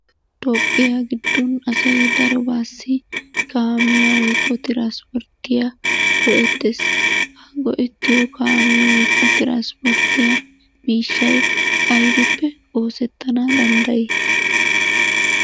Toophphiya giddon asay darobaassi kaamiya woykko traspporttiya go'ettees. Ha go'ettiyo kaamee woykko traspporttiya miishshay aybippe oosettana danddayi?